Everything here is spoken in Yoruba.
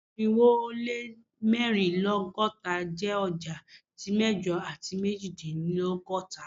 Irinwo o le mẹrinlelọgọta jẹ ọja ti mẹjọ ati mejidinlọgọta